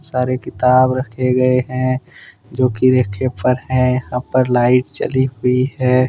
सारे किताब रखे गए हैं जो कि रेखे पर हैं यहां पर लाइट चली हुई है।